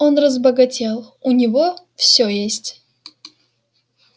он разбогател у него всё есть